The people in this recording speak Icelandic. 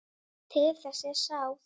Til þess er sáð.